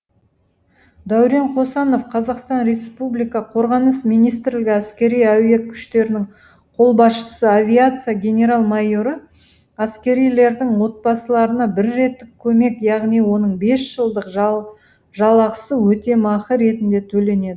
дәурен қосанов қазақстан республика қорғаныс министрлігі әскери әуе күштерінің қолбасшысы авиация генерал майоры әскерилердің отбасыларына бір реттік көмек яғни оның бес жылдық жалақысы өтемақы ретінде төленеді